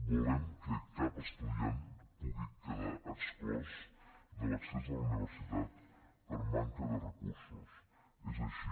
volem que cap estudiant pugui quedar exclòs de l’accés a la universitat per manca de recursos és així